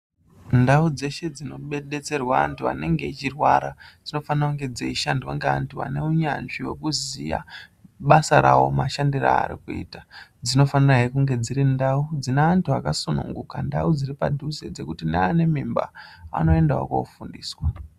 Ndau dzeshe dzinodetserwa antu anenge echirwara dzinofana kunge dzeishandwa ngeantu ane unyanzi hwekuziya basa rawo mashandire ari kuita. Dzinofanirahe kunge dziri ndau dzine antu akasununguka, ndau dziri padhuze dzekuti neane mimba anoendawo kofundiswa.